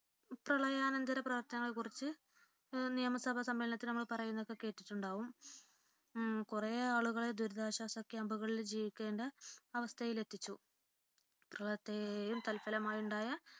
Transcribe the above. പ്രളയാനന്തര പ്രവർത്തനങ്ങളെകുറിച്ച് നിയമസഭാ സമ്മേളനത്തിൽ നമ്മൾ പറയുന്നത് കേട്ടിട്ടുണ്ട് കുറേ ആളുകളെ ദുരിതാശ്വാസ ക്യാമ്പുകളിൽ ജീവിക്കേണ്ട അവസ്ഥയിലെത്തിച്ചു പ്രളയത്തെയും തത്‌ഫലമായുണ്ടായ